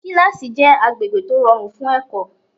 Kílásì jẹ́ agbègbè tó rọrùn fún ẹ̀kọ́